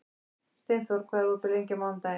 Steinþór, hvað er opið lengi á mánudaginn?